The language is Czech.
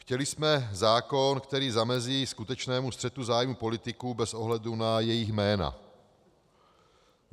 Chtěli jsme zákon, který zamezí skutečnému střetu zájmu politiků bez ohledu na jejich jména.